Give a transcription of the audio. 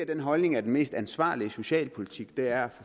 den holdning at den mest ansvarlige socialpolitik er at